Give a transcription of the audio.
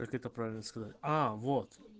как это правильно сказать аа вот